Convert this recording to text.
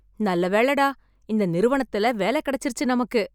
நல்ல வேளைடா இந்த நிறுவனத்துல வேலை கெடைச்சுருச்சு நமக்கு.